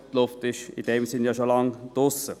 Die Luft ist schon lange raus.